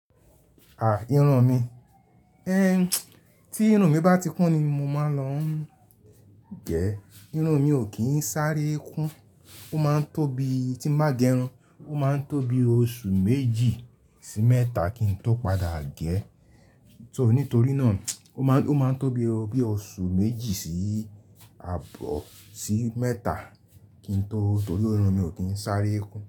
Àh! Irun mi. Ehn, tí irun mi bá ti kún ni mo máa ń lọ n ge. Irun mi ò kí ń sáré kún, ó máa ń tóbi tí ń bá gẹrun, ó máa ń tóbi oṣù méjì sí mẹ́ta kí n tó padà gé. So nítorí náà ó máa ń tóbi bí i oṣù méjì sí ààbọ̀ sí mẹ́ta kí n tó, torí irun mi ò kí ń sáré kún.